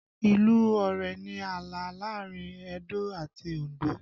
Ìlú Ọ̀rẹ̀ ni ààlà láàrin Edo àti Òndó